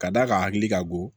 Ka d'a kan hakili ka go